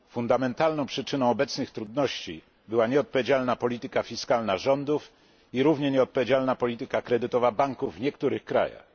Fundamentalną przyczyną obecnych trudności była nieodpowiedzialna polityka fiskalna rządów i równie nieodpowiedzialna polityka kredytowa banków w niektórych krajach.